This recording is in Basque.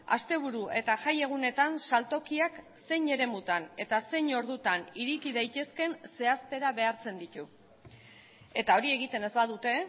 asteburu eta jai egunetan saltokiak zein eremutan eta zein ordutan ireki daitezkeen zehaztera behartzen ditu eta hori egiten ez badute